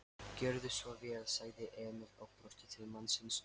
Gjörðu svo vel, sagði Emil og brosti til mannsins.